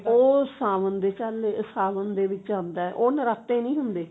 ਉਹ ਸਾਵਣ ਦੇ ਚਾਲੇ ਸਾਵਣ ਦੇ ਵਿੱਚ ਉਹ ਨਰਾਤੇ ਨਹੀ ਹੁੰਦੇ